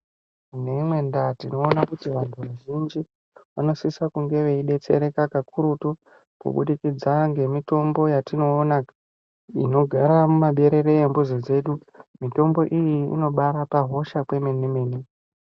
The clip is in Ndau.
Neimweni ndaa tinoona kuti vanthu vazhinji vanosisa kunge veidetsereka kakurutu kubudikidza ngemitombo yatinoona inogara mumaberere embuzi dzedu mitombo iyi inobaarapa hosha kwemenemene.